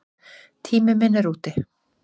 Tími minn er úti.